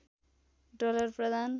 dollar प्रदान